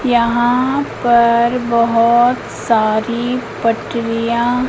यहां पर बहुत सारी पटरियां--